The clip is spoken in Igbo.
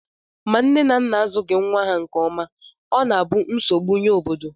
Ma nne na nna azụghị nnwa ha nke ọma, ọ na-abụ nsogbu nye obodo